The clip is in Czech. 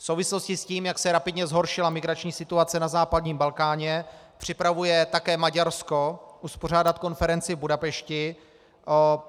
V souvislosti s tím, jak se rapidně zhoršila migrační situace na západním Balkáně, připravuje také Maďarsko uspořádat konferenci v Budapešti.